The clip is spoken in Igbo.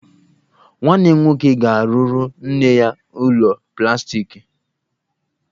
Nwanne m nwoke ga-arụrụ nne anyị ụlọ plastiki